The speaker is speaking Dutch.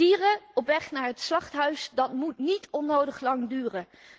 Dieren op weg naar het slachthuis, dat moet niet onnodig lang duren.